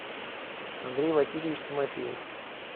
андрей васильевич тимофеев